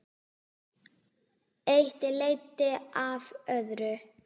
Eitt leiddi af öðru.